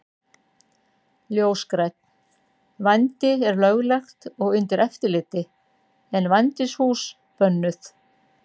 Ljósgrænn: Vændi er löglegt og undir eftirliti en vændishús bönnuð.